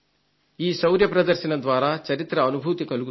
ఈ శౌర్య ప్రదర్శన ద్వారా చరిత్ర అనుభూతి కలుగుతుంది